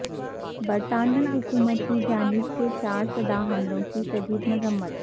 برطانوی حکومت کی جانب سےچارسدہ حملوں کی شدید مذمت